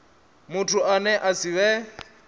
muthu ane a si vhe